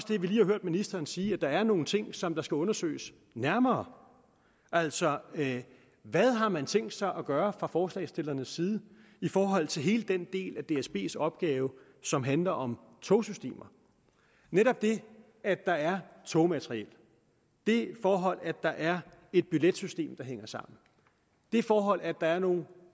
det vi lige har hørt ministeren sige at der er nogle ting som skal undersøges nærmere altså hvad har man tænkt sig at gøre fra forslagsstillernes side i forhold til hele den del af dsbs opgave som handler om togsystemer netop det at der er togmateriel det forhold at der er et billetsystem der hænger sammen det forhold at der er nogle